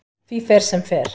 Því fer sem fer.